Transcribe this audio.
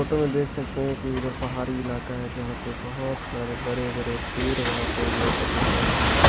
Photo में देख सकते हैं की उधर पहाड़ी इलाका है । जहां पर बहुत सारे बड़े-बड़े पेर वहाँ पे उन लोगों को लिख रहे हैं।